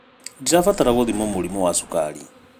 Ndirabatara gũthimwo mũrimũ wa cukari